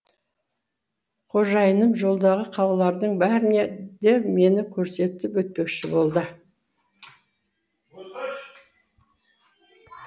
қожайыным жолдағы қалалардың бәріне де мені көрсетіп өтпекші болды